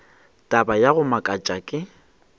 taba ya go makatša ke